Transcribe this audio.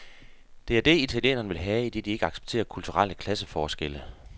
Det er det, italienerne vil have, idet de ikke accepterer kulturelle klasseforskelle.